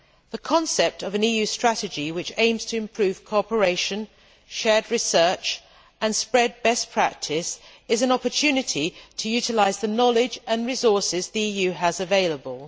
The concept of an EU strategy which aims to improve cooperation, share research and spread best practice is an opportunity to utilise the knowledge and resources the EU has available.